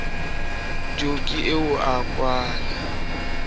jo ke eo a kwala